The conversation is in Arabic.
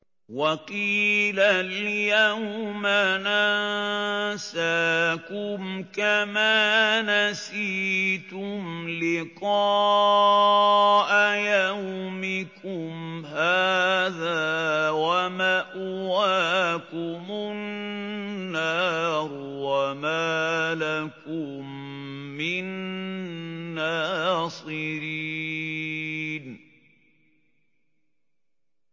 وَقِيلَ الْيَوْمَ نَنسَاكُمْ كَمَا نَسِيتُمْ لِقَاءَ يَوْمِكُمْ هَٰذَا وَمَأْوَاكُمُ النَّارُ وَمَا لَكُم مِّن نَّاصِرِينَ